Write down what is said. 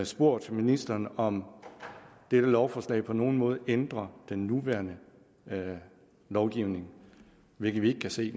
spurgt ministeren om dette lovforslag på nogen måde ændrer den nuværende lovgivning hvilket vi ikke kan se